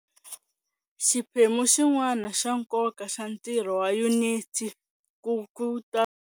Xiphemu xin'wana xa nkoka xa ntirho wa Yuniti ku ta.